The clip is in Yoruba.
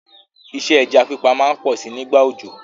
Isẹ́ ẹja pípa má n pọ si nígbà òjò